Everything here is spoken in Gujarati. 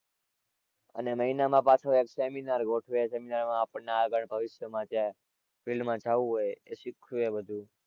અને મહિના માં પાછો એક seminar ગોઠવે. Seminar માં આપણને આગળ ભવિષ્યમાં જ્યાં field માં જવું હોય એ શીખવે બધું.